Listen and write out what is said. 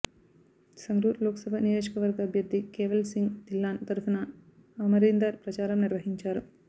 సంగ్రూర్ లోక్సభ నియోజకవర్గ అభ్యర్థి కేవల్ సింగ్ థిల్లాన్ తరఫున అమరీందర్ ప్రచారం నిర్వహించారు